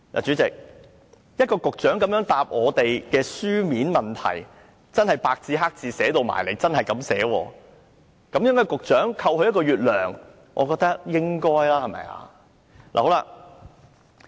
主席，當局長如此回答我們的書面質詢，白紙黑紙這樣寫出來，削減他1個月的薪酬，我認為是應該的，對嗎？